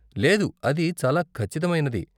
లేదు, అది చాలా ఖచ్చితమైనది.